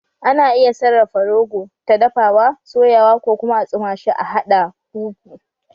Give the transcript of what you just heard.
Ana iya sarafa rogo, ta dafawa, soyawa ko kuma a tsuma shi a haɗa fufu